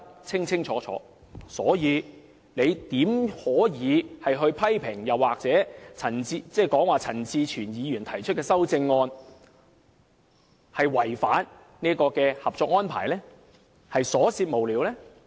因此，怎可以批評陳志全議員提出的修正案違反《合作安排》，是瑣屑無聊？